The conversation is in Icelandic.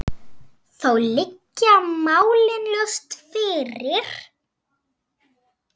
Þá liggja málin ljóst fyrir.